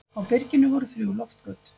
Á byrginu voru þrjú loftgöt.